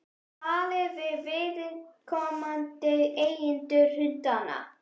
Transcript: Talið þið við viðkomandi eigendur hundanna?